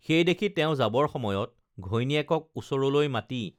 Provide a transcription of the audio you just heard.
সেইদেখি তেওঁ যাবৰ সময়ত ঘৈণীয়েকক ওচৰলৈ মাতি